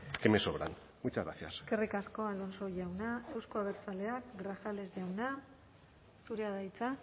que me sobran muchas gracias eskerrik asko alonso jauna euzko abertzaleak grajales jauna zurea da hitza